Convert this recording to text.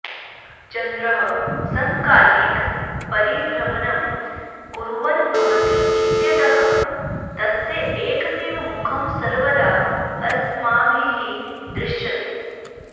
चन्द्रः समकालिकपरिभ्रमणं कुर्वन् भवति इत्यतः तस्य एकमेव मुखं सर्वदा अस्माभिः दृश्यते